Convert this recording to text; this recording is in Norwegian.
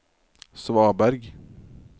svaberg